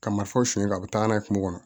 Ka marifaw siyɛn ka taa n'a ye kungo kɔnɔ